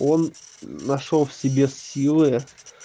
он нашёл в себе силы